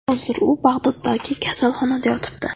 Hozir u Bag‘doddagi kasalxonada yotibdi.